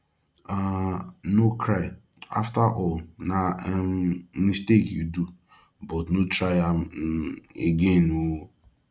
um no cry afterall na um mistake you do but no try am um again oo